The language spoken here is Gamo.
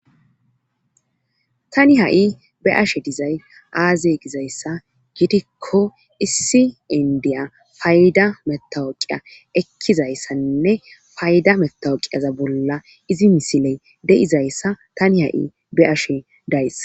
tani ha7i be7ashe dizay aaze gizaysa gidikko issi inddya payda mattawuqiya ekkizayssanne payda metawuqeza bolla izi misile de7izayssa tani ha7i be7ashe days.